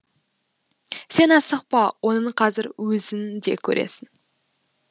сен асықпа оны қазір өзің де көресің